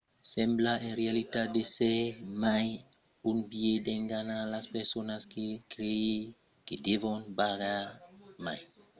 sembla en realitat d'èsser mai un biais d’enganar las personas per creire que devon pagar mai